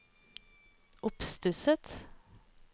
oppstusset